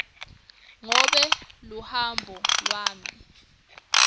ngobe luhambo lwami